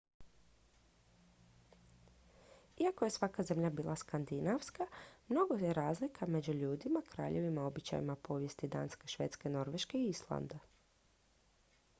"iako je svaka zemlja bila "skandinavska" mnogo je razlika među ljudima kraljevima običajima i povijesti danske švedske norveške i islanda.